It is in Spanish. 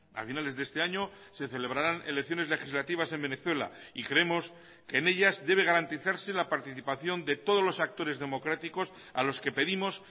a finales de este año se celebrarán elecciones legislativas en venezuela y creemos que en ellas debe garantizarse la participación de todos los actores democráticos a los que pedimos